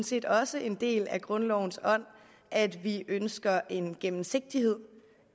set også en del af grundlovens ånd at vi ønsker en gennemsigtighed